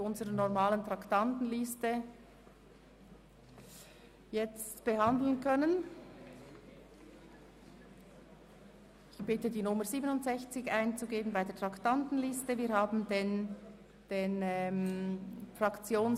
Damit wir keine Zeit verlieren, haben wir mit Regierungsrätin Simon abgesprochen, nun das Traktandum 67 zu behandeln.